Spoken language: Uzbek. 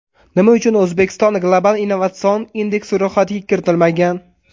Nima uchun O‘zbekiston Global innovatsion indeks ro‘yxatiga kiritilmagan?